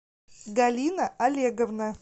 галина олеговна